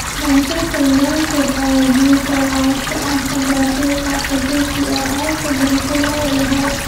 Manchester United ayaa guul soo laabasho ah ka gaartay kooxda Chelsea oo ay kaga badisay lawo iyo haal